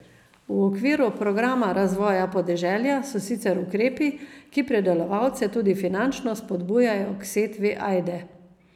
V okviru programa razvoja podeželja so sicer ukrepi, ki pridelovalce tudi finančno spodbujajo k setvi ajde.